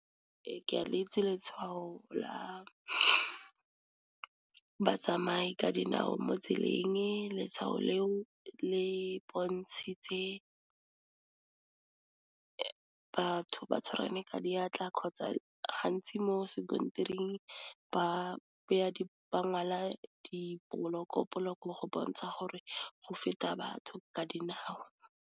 Ee ke a leitsi letshwao la batsamayi ka dinao mo tseleng, letshwao leo le bontshitse batho ba tshwaragane ka diatla kgotsa gantsi mo sekontiring ba ngwala di-block-o block-o go bontsha gore go feta batho ka dinao.